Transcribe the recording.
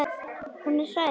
Hún er hrædd.